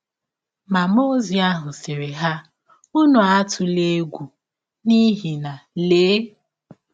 Ma mmụọ ọzi ahụ sịrị ha: ‘ Ụnụ atụla egwụ, n’ihi na, lee!